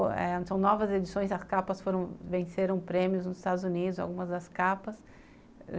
São novas edições, as capas venceram prêmios nos Estados Unidos, algumas das capas.